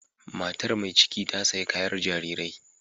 Matar mai ciki ta sayi kayar jarirai.